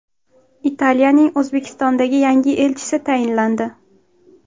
Italiyaning O‘zbekistondagi yangi elchisi tayinlandi.